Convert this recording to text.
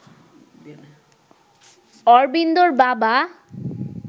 অরবিন্দর বাবা